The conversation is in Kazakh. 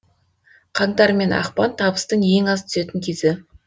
қаңтар мен ақпан табыстың ең аз түсетін кезі